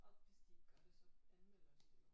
Og hvis de ikke gør det så anmelder vi det jo